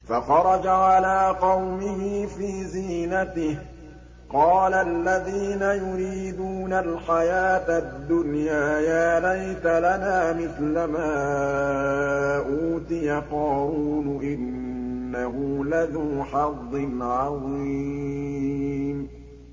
فَخَرَجَ عَلَىٰ قَوْمِهِ فِي زِينَتِهِ ۖ قَالَ الَّذِينَ يُرِيدُونَ الْحَيَاةَ الدُّنْيَا يَا لَيْتَ لَنَا مِثْلَ مَا أُوتِيَ قَارُونُ إِنَّهُ لَذُو حَظٍّ عَظِيمٍ